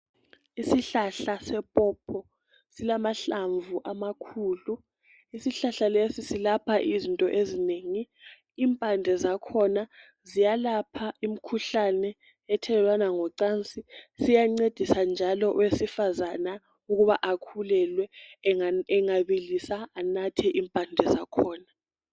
Isihlahla sephopho silamahlamvu amakhulu. Isihlahla lesi selapha izinto ezinengi. Impande zakhona ziyelapha imikhuhlane ethelelwana ngocansi. Siyancedisa njalo owesifazana ukuba akhululelwe engabilisa anathe impande zakhona.